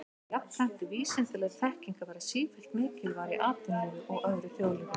Jafnframt er vísindaleg þekking að verða sífellt mikilvægari í atvinnulífi og öðru þjóðlífi.